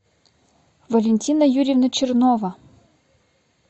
валентина юрьевна чернова